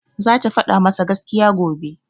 Zata faɗa masa gaskiya, gobe.